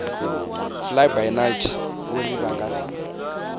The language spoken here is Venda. flybynight uri vha nga si